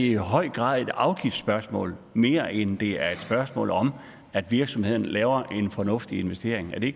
i høj grad et afgiftsspørgsmål mere end det er et spørgsmål om at virksomhederne laver en fornuftig investering er det